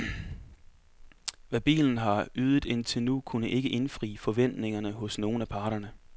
Hvad bilen har ydet indtil nu, kunne ikke indfriet forventningerne hos nogen af parterne.